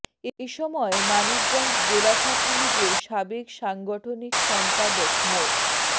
এ সময় মানিকগঞ্জ জেলা ছাত্রলীগের সাবেক সাংগঠনিক সম্পাদক মো